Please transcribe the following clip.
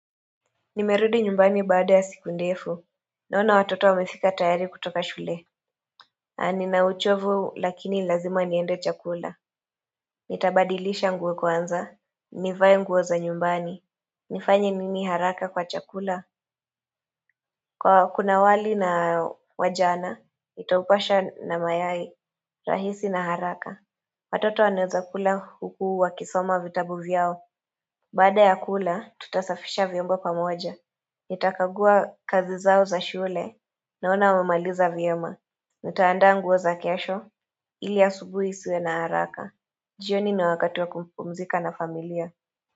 Nimerudi nyumbani baada ya siku ndefu Naona watoto wamefika tayari kutoka shule na nina uchovu lakini lazima niende chakula Nitabadilisha nguo kwanza Nivae nguo za nyumbani nifanye nini haraka kwa chakula Kwa kuna wali na wajana nitaupasha na mayai rahisi na haraka Watoto wanaweza kula huku wa kisoma vitabu vyao Baada ya kula tutasafisha vyombo pamoja Nitakagua kazi zao za shule naona wamemaliza vyema Nitandaa nguo za kesho ili asubuhi isiwe na haraka jioni na wakati wa kupumzika na familia.